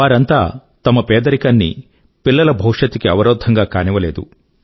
వారంతా తమ పేదరికాన్ని పిల్లల భవిష్యత్తు కి అవరోధంగా కానివ్వలేదు